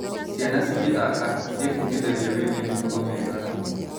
Ciana cigĩthaka, ciĩbundithagia wĩgiĩ mĩtugo mĩega.